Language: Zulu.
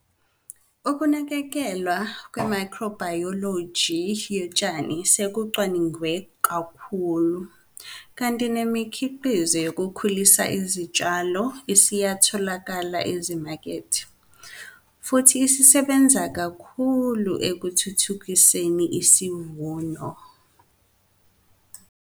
Ukunakekelwa kwemayikhrobhayoloji yotshani sekucwaningwe kakhulu, kanti nemikhiqizo yokukhulisa izitshalo isiyatholakala ezimakethe, futhi isebenza kahle kakhulu ekuthuthukiseni isivuno.